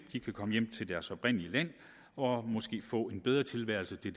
de kan komme hjem til deres oprindelige land og måske få en bedre tilværelse det